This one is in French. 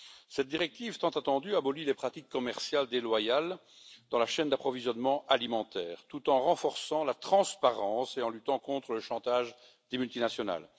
Cette directive tant attendue abolit les pratiques commerciales déloyales dans la chaîne d'approvisionnement alimentaire, tout en renforçant la transparence et en luttant contre le chantage des multinationales.